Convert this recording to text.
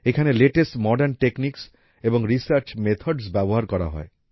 এখানে latest modern techniques এবং research methods ব্যবহার করা হয়